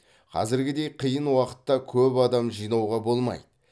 қазіргідей қиын уақытта көп адам жинауға болмайды